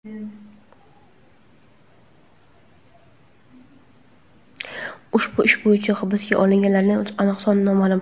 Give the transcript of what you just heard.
ushbu ish bo‘yicha hibsga olinganlarning aniq soni noma’lum.